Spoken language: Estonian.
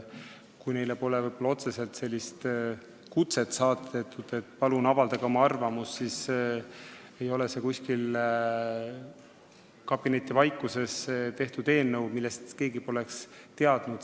Kui neile ka pole otseselt kutset saadetud, et palun avaldage oma arvamust, siis see ei ole ka kuskil kabinetivaikuses tehtud eelnõu, millest keegi poleks teadnud.